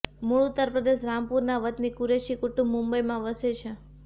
મૂળ ઉત્તરપ્રદેશ રામપુરનું વતની કુરૈશી કુટુંબ મુંબઇમાં વસે છે